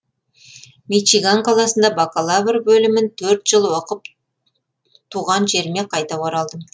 мичиган қаласында бакалавр бөлімін төрт жыл оқып түған жеріме қайта оралдым